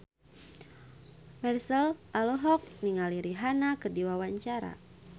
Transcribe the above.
Marchell olohok ningali Rihanna keur diwawancara